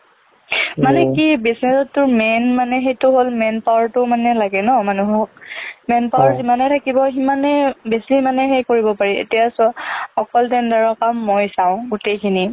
মানে কি বিচাৰোতো main মানে সেইটো হ'ল manpower টো মানে লাগে ন মানুহক manpower যিমানে থাকিব সিমানে বেছি মানে কৰিব পাৰি এতিয়া চোৱা অকল tender ৰ কাম মই চাওঁ গোটেইখিনি